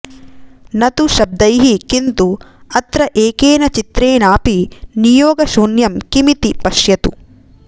न तु शब्दैः किन्तु अत्र एकेन चित्रेणापि नियोगशून्यम् किमिति पश्यतु